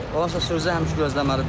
Onsuz da sürücü həmişə gözləməlidir də.